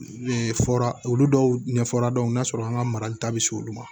fɔra olu dɔw ɲɛfɔra don n'a sɔrɔ an ka marali ta bɛ se olu ma